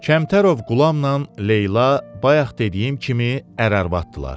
Kəmtərov Qulamnan Leyla bayaq dediyim kimi ər-arvaddırlar.